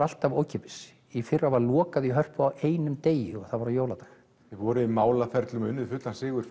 alltaf ókeypis í fyrra var lokað í Hörpu á einum degi og það var á jóladag þið voruð í málaferlum og unnuð fullan sigur